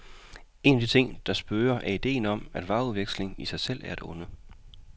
En af de ting, der spøger er ideen om, at varepengeudveksling i sig selv er et onde.